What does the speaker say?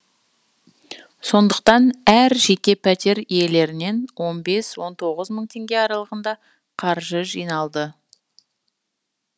сондықтан әр жеке пәтер иелерінен он бес он тоғыз мың теңге аралығында қаржы жиналды